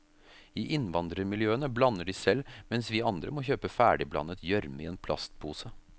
I innvandrermiljøene blander de selv, mens vi andre må kjøpe ferdigblandet gjørme i en plastpose.